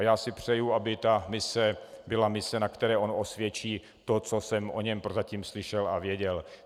A já si přeji, aby ta mise byla mise, na které on osvědčí to, co jsem o něm prozatím slyšel a věděl.